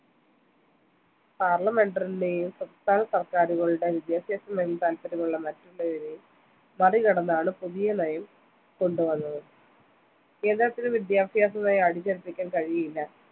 parlimenter നെയും സംസ്ഥാനസർക്കാരുകളെയും വിദ്യാഭ്യാസമേഖലയിൽ താൽപര്യമുള്ള മറ്റുള്ളവരെയും മറികടന്നാണ്‌ പുതിയ നയം കൊണ്ടുവന്നത്‌. കേന്ദ്രത്തിനു വിദ്യാഭ്യാസനയം അടിച്ചേൽപ്പിക്കാൻ കഴിയില്ല.